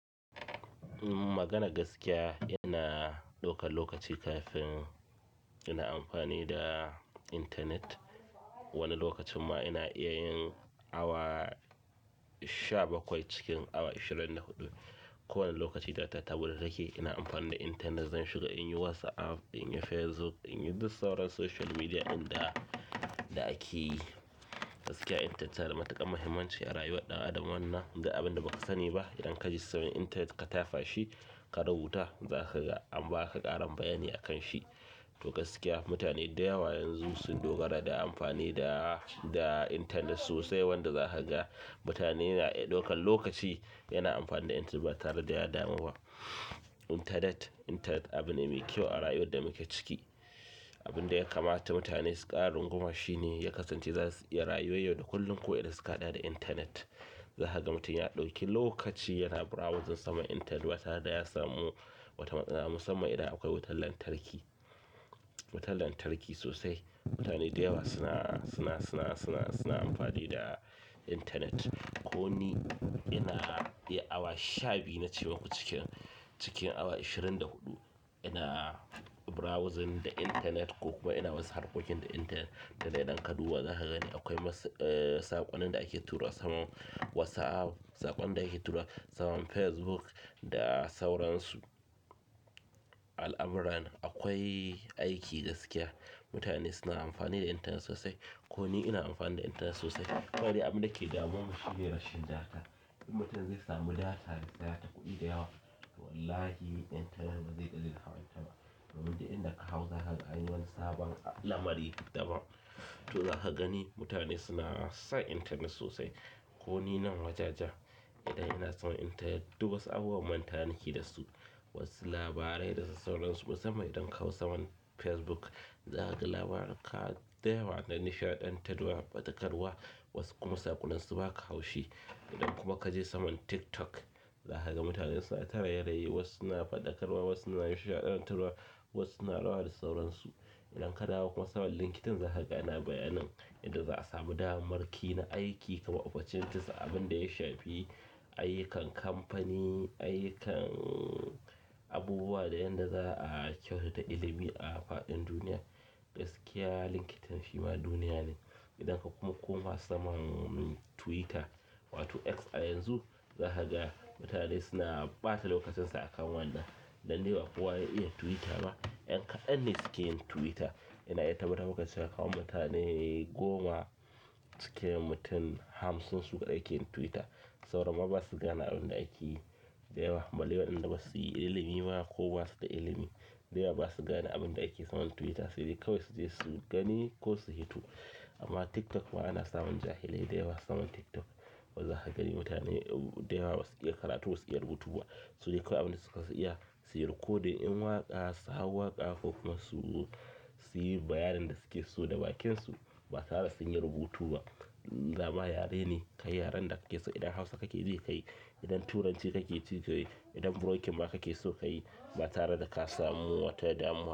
Maganan gaskiya, ina ɗaukan lokaci kafin ina amfani da intanet. Wani lokacin ma ina iya yin awa sha bakwai a cikin ashirin da huɗu ko wane lokaci data ta buɗe take ina amfani da intanet. Zan shiga in yi WhatsApp, in yi Facebook, in yi duk sauran social media da ake yi. Gaskiya, intanet tana da matuƙar muhimmanci a rayuwar ɗan adam wannan, duk abin da ba ka sani ba idan ka je saman intanet ka tafa shi ka rubuta za ka ga an ba ka ƙarin bayani akan shi. To gaskiya mutane da yawa yanzu sun dogara da amfani da, da intanet sosai wanda za ka ga mutane na iya ɗaukan lokaci yana amfani da intanet ba tare da ya damu ba. Intanet, intanet abin ne mai kyau a rayuwar da muke ciki. Abin da ya kamata mutane su ƙara runguma shi ne ya kasance za su iya rayuwar yau da kullum ko idan suka haɗ da intanet. Za ka ga mutum ya ɗauki lokaci yana browsing saman intanet ba tare da ya samu wata matsala musamman idan akwai wutar lantarki. Wutar lantarki sosai. Mutane da yawa suna, suna, suna, suna, suna amfani da intanet. Ko ni ina iya awa sha biyu na ce maku cikin, cikin awa ashirin da huɗu ina browsing da intanet ko kuma ina wasu harkokin da intanet. Duk da dai idan ka duba za ka gani akwai masu, eh saƙonnin da ake tura saman WhatsApp, saƙon da ake tura saman Facebook da sauran su. Al'amuran akwai aiki gaskiya. Mutane suna amfani da intanet sosai. Ko ni ina amfani da intanet sosai. Kawai dai abin da ke damuwan mu shi ne rashin data. In mutum zai sami data ya siya ta kuɗi da yawa. Wallahi intanet ba zai daina hawan ta ba. Domin duk inda ka hau za ka ga anyi wani sabon lamari daban. To za ka gani mutane suna son intanet sosai. Ko ni nan wajen ja, idan ina saman intanet duk wasu abubuwan mantawa nike da su, wasu labarai da su sauransu. Musamman idan ka hau saman Facebook za ka ga labarika da yawa na nishaɗantarwa, ɓatakarwa wasu kuma saƙonnin su ba ka haushi. Idan kuma ka je saman TikTok za ka ga mutane suna ta raye-raye wasu suna faɗakarwa, wasu suna nishaɗantarwa, wasu na rawa da sauransu. Idan ka dawo kuma saman LinkedIn za ka ga ana bayanin inda za a sami damar ki na aiki kamar opportunities abin da ya shafi ayyukan kamfani, ayyukan abubuwa da yanda za a kyautata ilimi a faɗin duniya. Gaskiya LinkedIn shima duniya ne. Idan kuma ka koma saman Twitter wato X a yanzu, zaka ga mutane suna ɓata lokacin su a wannan dan dai ba kowa ya iya Twitter ba. Ƴan kaɗan ne suke yin Twitter. Ina iya tabbatar maka da cewa kaman mutane goma cikin mutum hamsin su kaɗai ke yin Twitter. Sauran ma ba su gane abin da ake yi da yawa. Balle waɗanda ba su yi ilimi ba ko ba su da ilimi. Da yawa ba su gane abin da ake saman Twitter sai dai kawai su je su gani ko su hito. Amma TikTok ma ana saman jahilai da yawa saman TikTok. Zaka gani mutane da yawa ba su iya karatu ba su iya rubutu ba. Su dai kawai abin da suka iya su yi rikodin yin waƙa, su hau waƙa ko kuma su yi bayanin da suke so da bakinsu ba tare da sun yi rubutu ba. Dama yare ne, kayi yaren da ka ke so idan Hausa kake ji ka yi, idan Turanci kake ji ka yi, idan broken ma kake so ka yi ba tare da ka samu wata damuwa.